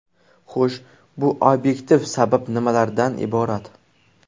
Xo‘sh, bu obyektiv sabab nimalardan iborat?